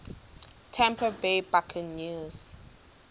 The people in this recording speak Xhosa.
tampa bay buccaneers